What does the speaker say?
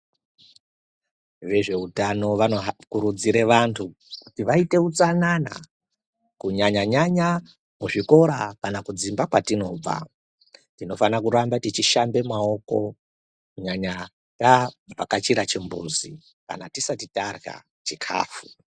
Vezveutano vanokurudzire vantu kuti vaite utsanana kunyanya nyanya kuzvikora kana kudzimba kwatinobva tinofanire kurambe techishambe maoko kunyanya tabvakachira kuchimbuzi kana tisati tarya chikafu.